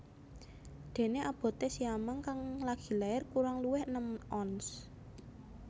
Déné aboté siamang kang lagi lair kurang luwih enem ons